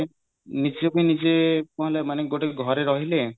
ନିଜକୁ ନିଜେ କଣ ହେଲା ମାନେ ଗୋଟେ ଘରେ ରହିଲେ